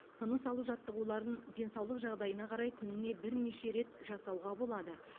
тыныс алу жаттығуларын денсаулық жағдайына қарай күніне бірнеше рет жасауға болады